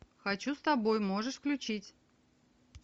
хочу с тобой можешь включить